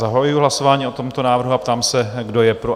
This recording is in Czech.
Zahajuji hlasování o tomto návrhu a ptám se, kdo je pro?